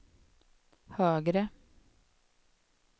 högre